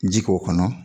Ji k'o kɔnɔ